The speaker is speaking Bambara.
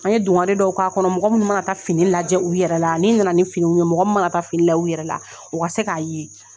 An ye dunkare dɔw k'a kɔnɔ mɔgɔ min mana taa fini lajɛ u yɛrɛ la n'i na na ni finiw ye mɔgɔ min mana taa fini lajɛ u yɛrɛ la o ka se k'a ye.